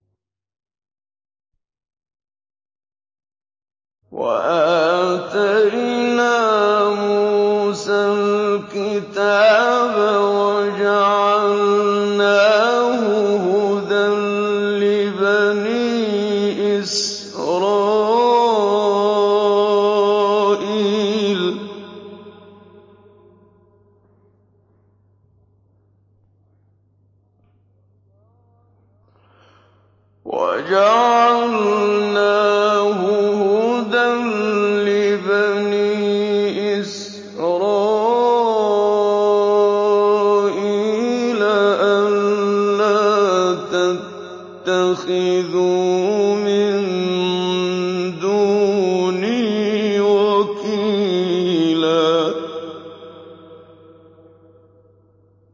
وَآتَيْنَا مُوسَى الْكِتَابَ وَجَعَلْنَاهُ هُدًى لِّبَنِي إِسْرَائِيلَ أَلَّا تَتَّخِذُوا مِن دُونِي وَكِيلًا